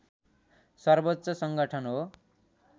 सर्वोच्च सङ्गठन हो